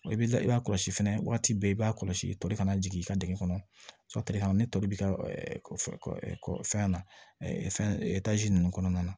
I bɛ i b'a kɔlɔsi fɛnɛ waati bɛɛ i b'a kɔlɔsi tɔ kana jigin i ka dingɛ kɔnɔ ni tɔri b'i ka fɛn na fɛn ninnu kɔnɔna na